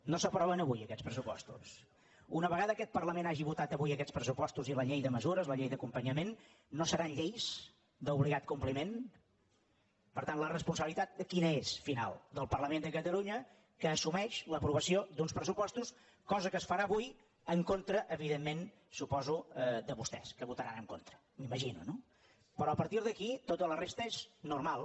no s’aproven avui aquests pressupostos una vegada aquest parlament hagi votat avui aquests pressupostos i la llei de mesures la llei d’acompanyament no seran lleis d’obligat compliment per tant la responsabilitat quina és final del parlament de catalunya que assumeix l’aprovació d’uns pressupostos cosa que es farà avui en contra evidentment suposo de vostès que hi votaran en contra m’imagino no però a partir d’aquí tota la resta és normal